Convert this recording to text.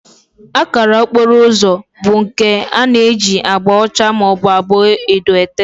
Akara okporo ụzọ bụ nke a na-eji agba ọcha maọbụ edo ete